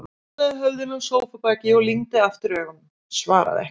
Hann hallaði höfðinu á sófabakið og lygndi aftur augunum, svaraði ekki.